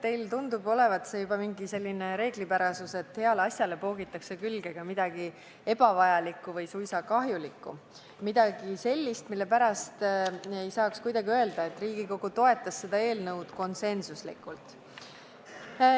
Teie puhul tundub olevat juba mingi reeglipärasus, et heale asjale poogitakse külge ka midagi ebavajalikku või suisa kahjulikku, midagi sellist, mille pärast ei saa kuidagi öelda, et Riigikogu toetas seda eelnõu konsensusega.